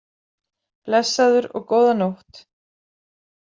Blessaður og góða nótt.